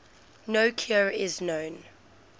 no cure is known